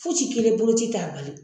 Foyi ci kelen boloci t'a bali